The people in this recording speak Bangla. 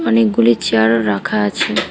অনেকগুলি চেয়ার রাখা আছে।